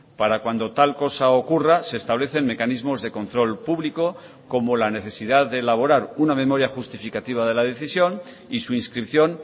para cuando tal cosa ocurra se establecen mecanismos de control público como la necesidad de elaborar una memoria justificativa de la decisión y su inscripción